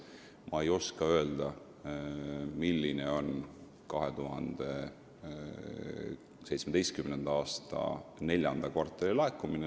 Ma ei oska tõepoolest öelda, milline oli laekumine 2017. aasta neljandas kvartalis.